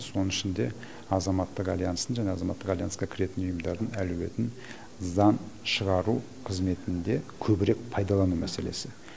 соның ішінде азаматтық альянстың жаңағы азаматтық альянсқа кіретін ұйымдардың әлеуетін заң шығару қызметінде көбірек пайдалану мәселесі